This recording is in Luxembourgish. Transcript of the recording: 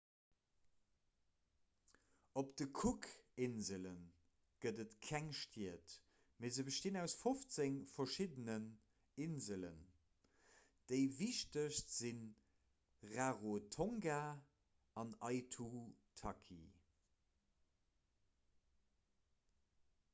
op de cookinsele gëtt et keng stied mee se bestinn aus 15 verschiddenen inselen déi wichtegst si rarotonga an aitutaki